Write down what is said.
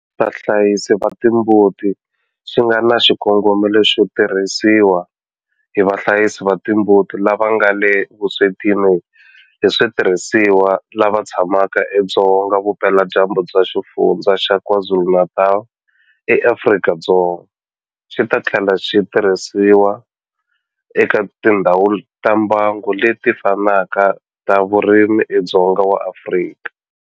Vahlayisi va timbuti xi nga na xikongomelo xo tirhisiwa hi vahlayisi va timbuti lava nga le vuswetini hi switirhisiwa lava tshamaka edzonga vupeladyambu bya Xifundzha xa KwaZulu-Natal eAfrika-Dzonga, xi ta tlhela xi tirhisiwa eka tindhawu ta mbango leti fanaka ta vurimi edzongeni wa Afrika.